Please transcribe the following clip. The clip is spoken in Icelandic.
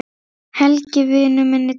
Helgi vinur minn er dáinn.